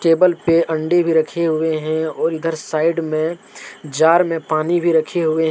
Table पे अण्डे भी रखे हुए हैं और इधर साइड में जार में पानी भी रखे हुए हैं।